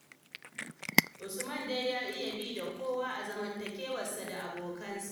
Usman dai ya iya bi da kowa a zamantakewarsa da abokansa.